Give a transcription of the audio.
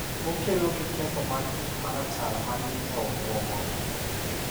Okelo gi ketho mar gik ma rachar ma ni e obwongo.